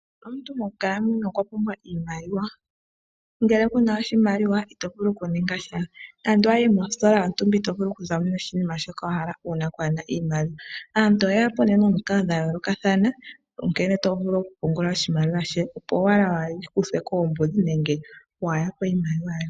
Omuntu monkalamwenyo okwa pumbwa iimaliwa, ngele kuna oshimaliwa itovulu okuningasha nande owayi mositola yontumba itovulu okuzamo noshinima shontumba uuna kuuna oshimaliwa, aantu oye yapo nomikalo dha yoolokathana nkene tovulu okupungula oshimaliwa she opo owala iihupithe koombudhi nenge waayakwe iimaliwa yoye.